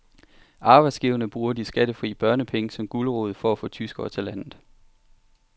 Arbejdsgiverne bruger de skattefri børnepenge som gulerod for at få tyskere til landet.